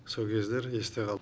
сол кездер есте қалды